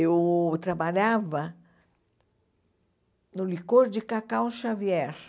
Eu trabalhava no licor de cacau Xavier.